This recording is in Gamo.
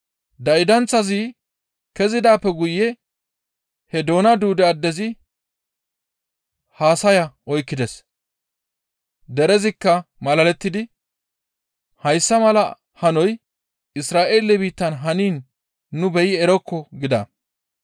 Daydanththazi kezidaappe guye he doona duude addezi haasaya oykkides; derezikka malalettidi, «Hayssa mala hanoy Isra7eele biittan haniin nu beyi erokko» gida.